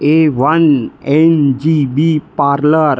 A one N J B parlour.